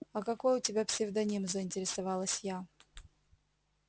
а какой у тебя псевдоним заинтересовалась я